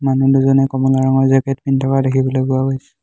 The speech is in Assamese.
মানুহ দুজনে কমলা ৰঙৰ জেকেট পিন্ধি থকাও দেখিবলৈ পোৱা গৈছে।